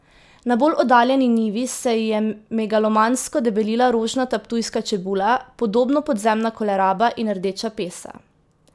Na bolj oddaljeni njivi se ji je megalomansko debelila rožnata ptujska čebula, podobno podzemna koleraba in rdeča pesa.